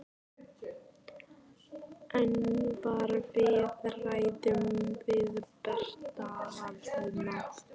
En var viðræðum við Breta hafnað?